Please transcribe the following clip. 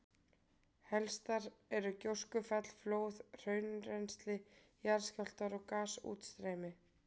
Helstar eru gjóskufall, flóð, hraunrennsli, jarðskjálftar og gasútstreymi.